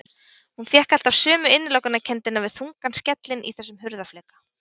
Hún fékk alltaf sömu innilokunarkenndina við þungan skellinn í þessum hurðarfleka.